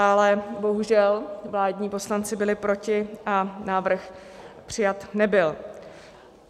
Ale bohužel vládní poslanci byli proti a návrh přijat nebyl.